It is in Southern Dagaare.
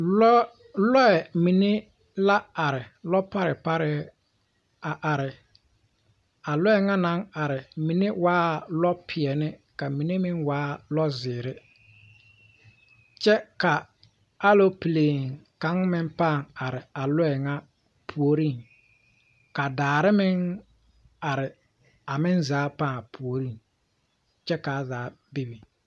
Lɔɛ mine la are lɔparɛ parɛ a are a lɔɛ ŋa naŋ are mine waa lɔpeɛle ka mine meŋ waa lɔzeere kyɛ ka alopleen kaŋ meŋ paŋ are a lɔɛ ŋa puorinŋ ka daare meŋ are a meŋ zaa paaŋ puoriŋkyɛ kaa zaa bebe